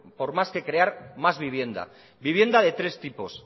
por más que crear más vivienda vivienda de tres tipos